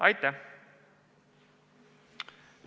Aitäh!